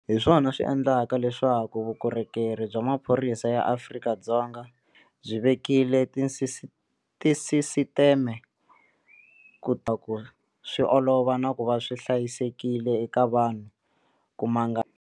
Hi swona swi endlaka leswaku Vukorhokeri bya Maphorisa ya Afrika-Dzonga, SAPS, byi vekile tisisiteme ku tiyisisa leswaku swi olova na ku va swi hlayisekile eka vanhu ku mangala vugevenga lebyi.